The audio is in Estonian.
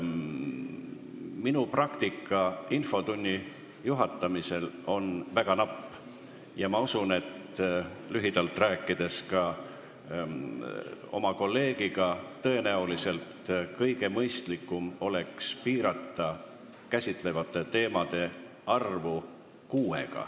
Minu praktika infotunni juhatamisel on väga napp ja olles lühidalt sellest rääkinud ka oma kolleegiga, usun, et tõenäoliselt oleks kõige mõistlikum piirata käsitletavate teemade arvu kuuega.